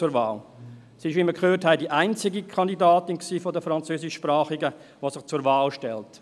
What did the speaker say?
Sie ist, wie wir gehört haben, die einzige Kandidatin bei den Französischsprachigen, die sich zur Wahl stellt.